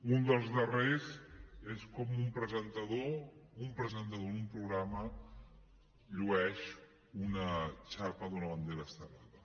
un dels darrers és com un presentador d’un programa llueix una xapa d’una bandera estelada